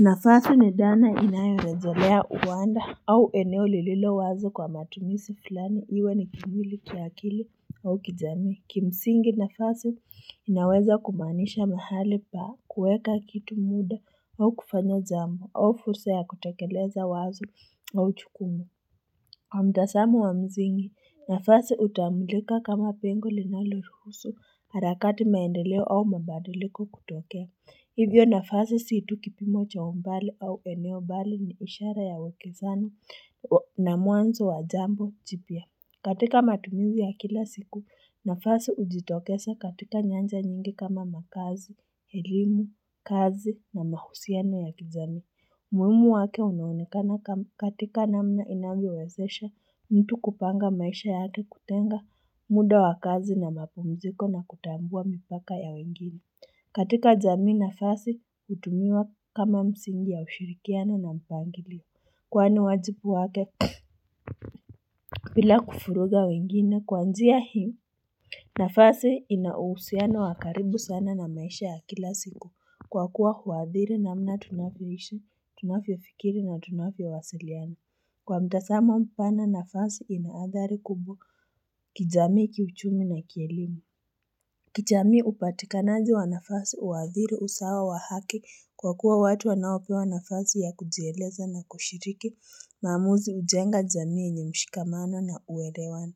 Nafasi ni dhana inayorejelea uwanda au eneo lililo wazo kwa matumizi fulani iwe ni kimwili, kiakili au kijamii. Kimsingi nafasi inaweza kumanisha mahali pa kuweka kitu muda au kufanya jambo au fursa ya kutekeleza wazo au jukumu. Kwa mtazamo wa msingi, nafasi hutambulika kama pengo linalo ruhusu harakati maendeleo au mabadiliko kutokea. Hivyo nafasi si tu kipimo cha umbali au eneo bali ni ishara ya wekezano na mwanzo wa jambo jipya. Katika matumizi ya kila siku, nafasi hujitokesa katika nyanja nyingi kama makazi, elimu, kazi na mahusiano ya kijamii. Umuhimu wake unaonekana katika namna inavyowezesha mtu kupanga maisha yake kutenga muda wa kazi na mapumziko na kutambua mipaka ya wengine. Katika jamii nafasi hutumiwa kama msingi ya ushirikiana na mpangilio. Kwani wajibu wake bila kuvuruga wengine kwa njia hii. Nafasi inauhusiano wa karibu sana na maisha ya kila siku kwa kuwa huadhiri namna tunavyoishi, tunavyofikiri na tunavyowasiliana. Kwa mtazamo mpana nafasi inaadhari kubwu kijamii kiuchumi na kielimu. Kijamii upatikanaji wa nafasi uadhiri usawa wa haki kwa kuwa watu wanaopewa nafasi ya kujieleza na kushiriki mamuzi ujenga jamii yenye mshikamano na uelewano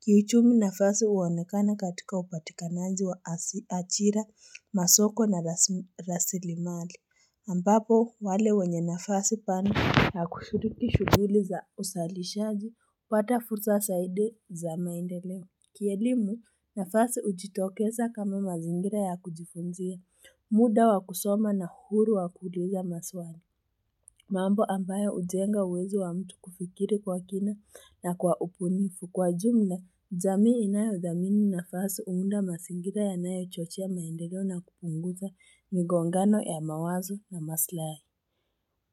Kiuchumi nafasi huonekana katika upatikanaji wa ajira, masoko na rasilimali ambapo wale wenye nafasi pana na kushiriki shuguli za uzalishaji hupata fursa zaidi za maendeleo Kielimu, nafasi hujitokeza kama mazingira ya kujifunzia, muda wa kusoma na huru wa kuuliza maswali, mambo ambayo hujenga uwezo wa mtu kufikiri kwa kina na kwa ubunifu. Kwa jumla, jamii inayodhamini nafasi huunda mazingira yanayo chochea maendeleo na kupunguza migongano ya mawazo na maslahi.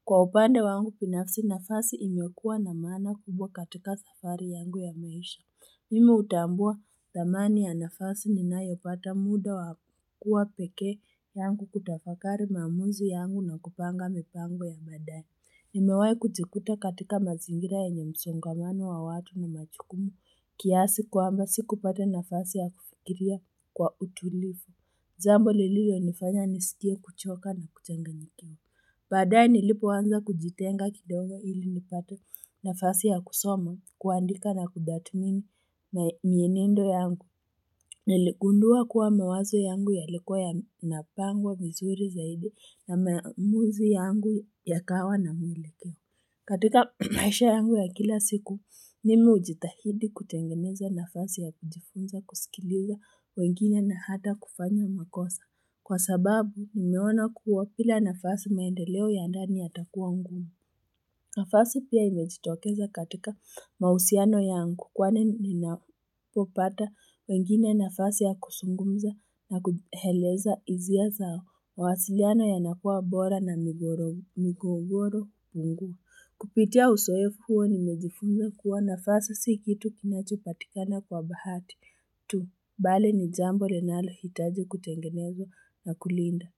Kwa upande wangu, binafasi nafasi imiekua na maana kubwa katika safari yangu ya maisha. Mimu hutambua dhamani ya nafasi ninayopata muda wa kuwa peke yangu kutafakari maamuzi yangu na kupanga mipango ya baadaye. Nimewahi kujikuta katika mazingira yenye msongamano wa watu na majukumu kiasi kwamba sikupata nafasi ya kufiria kwa utulivu. Jambo lililio nifanya niskie kuchoka na kuchanganyikiwa. Baadaye nilipoanza kujitenga kidongo ili nipate nafasi ya kusoma, kuandika na kuthmini na mienendo yangu. Niligundua kuwa mawazo yangu yalikuwa yanapangwa vizuri zaidi na maamuzi yangu ya kawa na mwelekeo. Katika maisha yangu ya kila siku, mimi hujitahidi kutengeneza nafasi ya kujifunza kuskiliza wengine na hata kufanya makosa. Kwa sababu, nimeona kuwa bila nafasi maendeleo ya ndani yatakuwa ngumu. Nafasi pia imejitokeza katika mahusiano yangu kwani ninapopata wengine nafasi ya kuzungumza na kueleza hisia zao, mawasiliano yanakuwa bora na migogoro ngu. Kupitia uzoefu huo nimejifunza kuwa nafasi si kitu kinachopatikana kwa bahati. Tu, bali ni jambo linalohitaji kutengenezwa na kulindwa.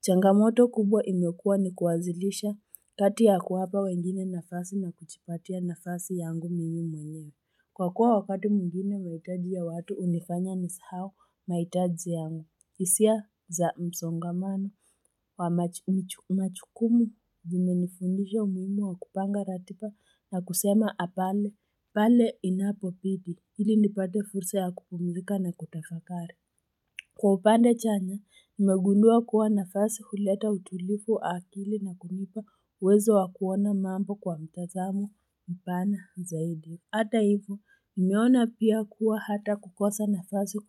Changamoto kubwa imekua ni kuazilisha kati ya kuwapa wengine nafasi na kujiipatia nafasi yangu mimi mwenye. Kwa kuwa wakati mwingine mahitaji ya watu hunifanya nisahau mahitaji yangu. Hisia za msongamana wa majukumu imenifundisha umuhimu wa kupanga ratiba na kusema hapana pale inapobidi. Ili nipate fursa ya kupumilika na kutafakari. Kwa upande chanya, nimegundua kuwa nafasi kuleta utulivu wa akili na kunipa uwezo wa kuona mambo kwa mtazamo mpana zaidi. Hata hivyo, nimeona pia kuwa hata kukosa nafasi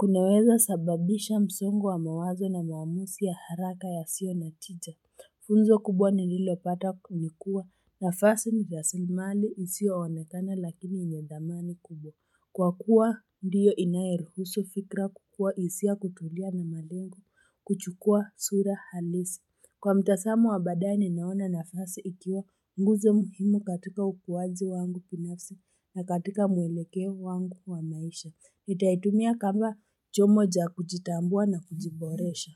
kunaweza sababisha msongo wa mawazo na maamuzi ya haraka yasio na tija. Funzo kubwa nililopata ni kuwa nafasi ni rasalimali isioonekana lakini yenye dhamani kubwa. Kwa kuwa ndiyo inayoruhu fikra kukua hisia kutulia na malengo kuchukua sura halisi. Kwa mtazamo wa baadae ni naona nafasi ikiwa nguzo muhimu katika ukuaji wangu binafsi na katika mwelekeo wangu wa maisha. Nitaitumia kama chombo cha kujitambua na kujiboresha.